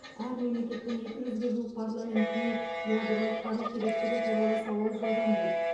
әр мемлекеттің екі жүзге жуық парламентіне ядролық қару керектігі туралы сауал жолданды